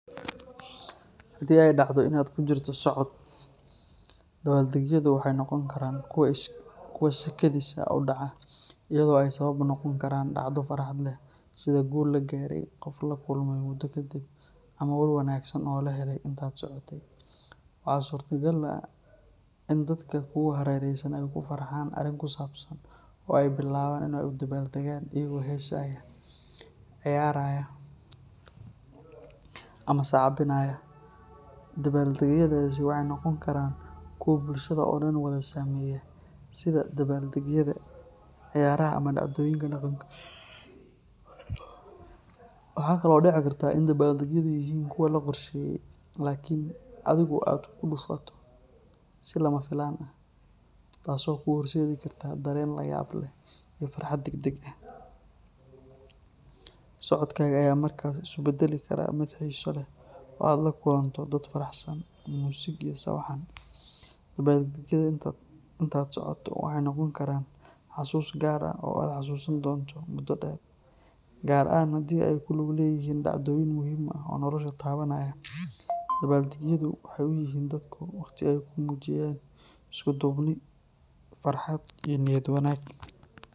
Haddii ay dhacdo in aad ku jirto socod, dabaaldegyadu waxay noqon karaan kuwo si kedis ah u dhaca, iyadoo ay sabab u noqon karaan dhacdo farxad leh sida guul la gaaray, qof la kulmay muddo kadib, ama war wanaagsan oo la helay intaad socotay. Waxaa suurtagal ah in dadka kugu hareeraysan ay ku farxaan arrin ku saabsan oo ay bilaabaan inay u dabaaldegaan iyagoo heesaya, ciyaaraya ama sacbinaya. Dabaaldegyadaasi waxay noqon karaan kuwo bulshada oo dhan wada saameeya, sida dabaaldegyada ciyaaraha ama dhacdooyinka dhaqanka. Waxaa kale oo dhici karta in dabbaaldegyadu yihiin kuwo la qorsheeyay laakiin adigu aad ku dhufato si lama filaan ah, taasoo kuu horseedi karta dareen la yaab leh iyo farxad degdeg ah. Socodkaaga ayaa markaas isu beddeli kara mid xiiso leh oo aad la kulanto dad faraxsan, muusig iyo sawaxan. Dabaaldegyada intaad socoto waxay noqon karaan xasuus gaar ah oo aad xasuusan doonto muddo dheer, gaar ahaan haddii ay ku lug leeyihiin dhacdooyin muhiim ah oo noloshaada taabanaya. Dabaaldegyadu waxay u yihiin dadku waqti ay ku muujiyaan isku duubni, farxad iyo niyad wanaag.